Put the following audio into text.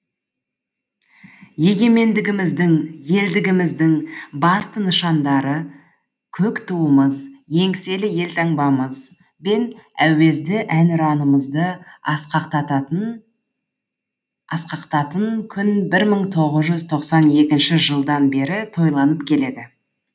егемендігіміздің елдігіміздің басты нышандары көк туымыз еңселі елтаңбамыз бен әуезді әнұранымызды асқақтататын күн бір мың тоғыз жүз тоқсан екінші жылдан бері тойланып келеді